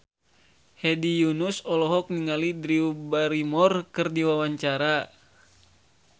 Hedi Yunus olohok ningali Drew Barrymore keur diwawancara